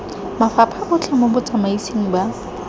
mafapha otlhe mo botsamaising ba